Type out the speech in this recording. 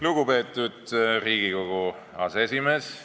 Lugupeetud Riigikogu aseesimees!